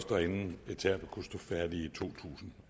og anden etape kunne stå færdig i to tusind